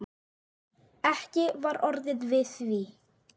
Ekki var orðið við því.